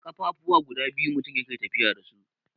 ƙafafuwa guda biyu mutum yake tafiya da su.